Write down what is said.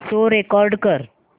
show record कर